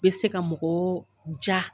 Be se ka mɔgɔw ja